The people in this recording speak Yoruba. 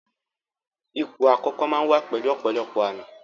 Ipò àkókò máa ń wá pẹ̀lú ọ̀pọ̀lọpọ̀ àmì